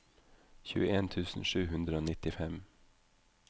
tjueen tusen sju hundre og nittifem